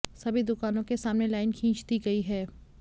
सभी दुकानों के सामने लाइन खींच दी गई है